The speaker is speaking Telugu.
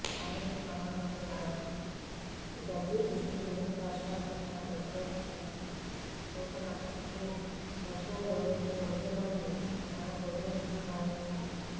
ఆధునిక భావాలుకలిగిన జదీదిస్టులు రష్యాపట్ల వ్యతిరేకత చూపనప్పటికీ రష్యనులు ఈ ఉద్యమన్ని ఒక బెదిరింపుగా భావించారు